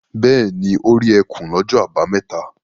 Bẹ́ẹ̀ ni, ó rí ẹkùn lọ́jọ́ àbámẹ́ta.